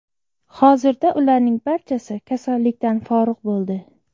Hozirda ularning barchasi kasallikdan forig‘ bo‘ldi.